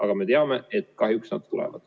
Aga me teame, et kahjuks nad tulevad.